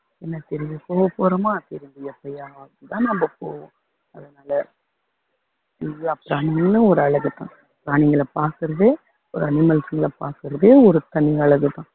என்ன சரி போக போறோமா இருந்து எப்போதாவதுதான் நம்ம போவோம் அதனால எல்லா பிராணிங்களும் ஒரு அழகுதான் பிராணிங்களை பாக்குறதே ஒரு animals ங்களை பாக்குறதே ஒரு தனி அழகுதான்